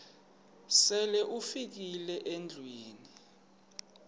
sele ufikile endlwini